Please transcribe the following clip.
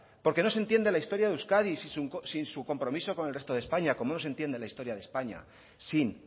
porque no se entiende la historia de euskadi sin su compromiso con el resto de españa como no se entiende la historia de españa sin